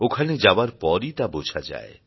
ওখানে যাওয়ার পরই তা বোঝা যায়